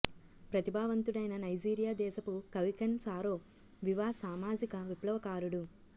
ప్రతిభావంతుడైన Nigeria దేశపు కవి Ken Saro Wiwa సామాజిక విప్లవకారుడు